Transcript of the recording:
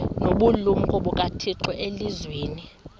nobulumko bukathixo elizwini